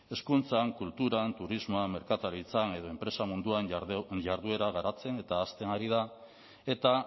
hezkuntzan kulturan turismoa merkataritza edo enpresa munduan jarduera garatzen eta hazten ari da eta